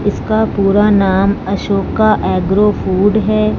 इसका पूरा नाम अशोका एग्रो फूड है।